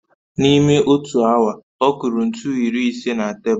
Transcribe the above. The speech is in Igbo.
N'ime otu awa, ọ kụrụ ntu iri ise na tebụl